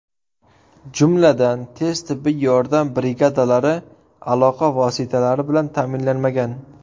Jumladan, tez tibbiy yordam brigadalari aloqa vositalari bilan ta’minlanmagan.